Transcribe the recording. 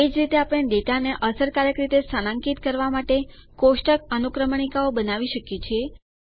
એ જ રીતે આપણે ડેટા ને અસરકારક રીતે સ્થાનાંકિત કરવાં માટે કોષ્ટક અનુક્રમણીકાઓ બનાવી શકીએ છીએ